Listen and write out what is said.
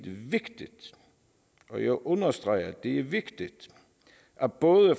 vigtigt og jeg understreger at det er vigtigt at både